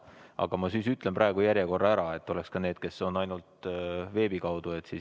Aga ma siis praegu loen järjekorra ette, et seda teaksid ka need, kes osalevad ainult veebi kaudu.